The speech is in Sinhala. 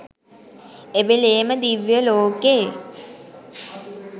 එවේලේම දිව්‍ය ලෝකෙ.